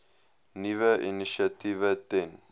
nuwe initiatiewe ten